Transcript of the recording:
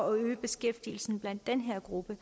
at øge beskæftigelsen blandt den her gruppe